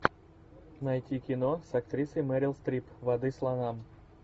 найти кино с актрисой мерил стрип воды слонам